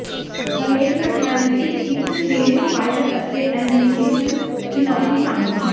ਹਰੇਕ ਘਟਨਾ ਵਿੱਚ ਇਕ ਤੇਜ਼ਫਾਇਰ ਅਤੇ ਐਲਮੀਨੇਸ਼ਨ ਚੁਣੌਤੀ ਸ਼ਾਮਲ ਹੈ